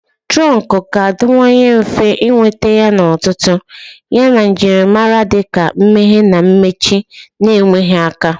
Turonku ga-adịwanye mfe ịnweta yana ọtụtụ, yana njirimara dị ka mmeghe na mmechi na-enweghị aka